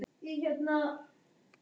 Á sunnudaginn leitaði hann þess.